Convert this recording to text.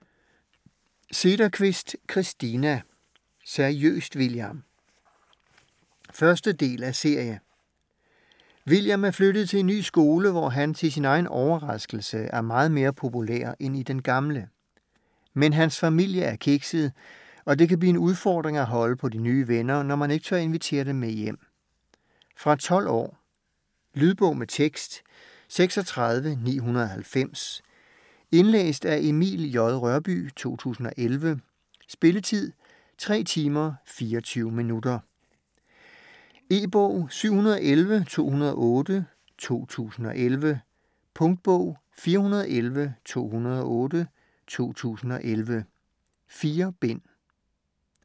Sederqvist, Christina: Seriøst, William? 1. del af serie. William er flyttet til en ny skole, hvor han, til sin egen overraskelse, er meget mere populær end i den gamle. Men hans familie er kikset, og det kan blive en udfordring at holde på de nye venner, når man ikke tør invitere dem med hjem. Fra 12 år. Lydbog med tekst 36990 Indlæst af Emil J. Rørbye, 2011. Spilletid: 3 timer, 24 minutter. E-bog 711208 2011. Punktbog 411208 2011. 4 bind.